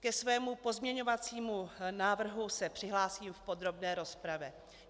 Ke svému pozměňovacímu návrhu se přihlásím v podrobné rozpravě.